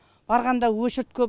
барғанда очередь көп